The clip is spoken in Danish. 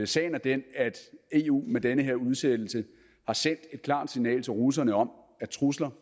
sagen er den at eu med den her udsættelse har sendt et klart signal til russerne om at trusler